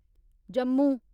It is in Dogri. जम्मू